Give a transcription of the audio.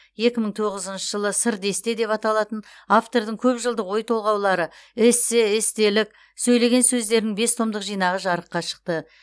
екі мың тоғызыншы жылы сыр десте деп аталатын автордың көп жылдық ой толғаулары эссе естелік сөйлеген сөздерінің бес томдық жинағы жарыққа шықты